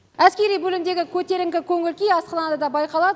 әскери бөлімдегі көтеріңкі көңіл күй асханада да байқалады